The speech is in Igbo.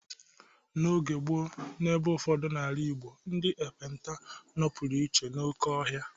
N’oge gboo, n’ebe ụfọdụ n’ala Igbo, ndị ekpenta nọpụrụ iche n’oké ọhịa